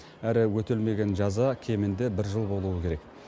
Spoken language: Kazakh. әрі өтелмеген жаза кемінде бір жыл болуы керек